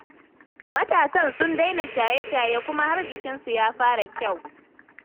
Matasan sun daina shaye-shaye kuma har jikinsu ya fara kyau